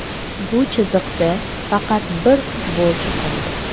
Bu chiziqda faqat bir futbolchi qoldi.